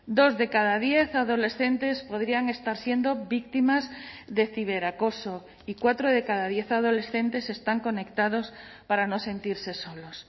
dos de cada diez adolescentes podrían estar siendo víctimas de ciberacoso y cuatro de cada diez adolescentes están conectados para no sentirse solos